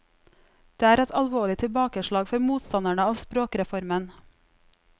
Det er et alvorlig tilbakeslag for motstanderne av språkreformen.